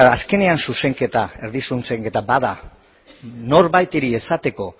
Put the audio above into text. azkenean zuzenketa erdi zuzenketa bada norbaiti esateko